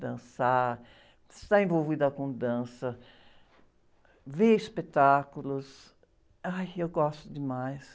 Dançar, estar envolvida com dança, ver espetáculos, ai, eu gosto demais.